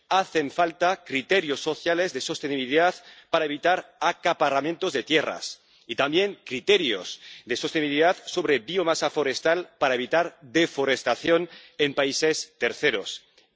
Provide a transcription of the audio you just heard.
Hacen falta criterios sociales de sostenibilidad para evitar acaparamientos de tierras y también criterios de sostenibilidad sobre biomasa forestal para evitar la deforestación en terceros países.